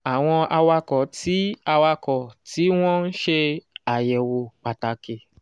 àwọn awakọ̀ tí awakọ̀ tí wọ́n ń ṣe àyẹ̀wò pàtàkì